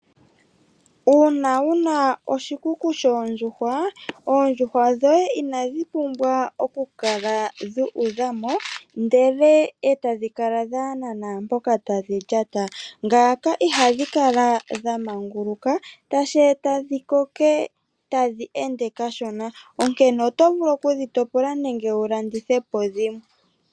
Uuna wu na oshikuku shoondjuhwa, oondjuhwa dhoye inadhi pumbwa oku kala dha udha mo ndele etadhi kala dhaahena naampoka tadhi lyata. Ngaaka ihadhi kala dha manguluka , tashi e ta dhi koke tadhi ende kashona, onkene oto vulu oku dhi topila nenge wu landithe po dhimwe.